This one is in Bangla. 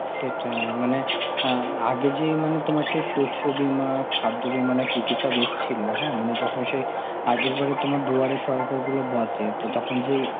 সেটাই মানে আঁ আগে যেই মানে তোমার শস্য বীমা, খাদ্য বীমা না কি কি সব এসছিল, হ্যাঁ মানে যখন সেই আগের বারে তোমার দুয়ারে সরকারগুলো বসে, তো তখন যেই~